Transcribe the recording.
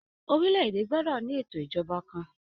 Orílè èdè gbọdọ ní ètò ìjọba kàn.